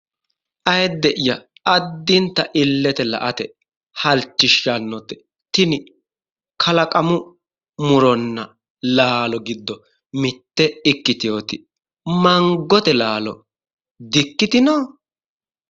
Auiidde'ya addinta illete la"ate halchishshannote tini kalaqamu muronna laalo giddo mitte ikkiteyooti mangote laalo dikkitino?